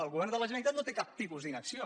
el govern de la gene ralitat no té cap tipus d’inacció